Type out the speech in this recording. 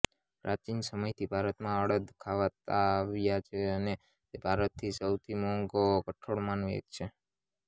પ્રાચીન સમયથી ભારતમાં અડદ ખવાતા આવ્યા છે અને તે ભારતના સૌથી મોંઘા કઠોળમાંનું એક છે